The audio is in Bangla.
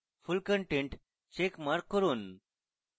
full content check mark করুন